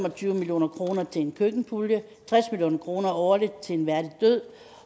og tyve million kroner til en køkkenpulje tres million kroner årligt til en værdig død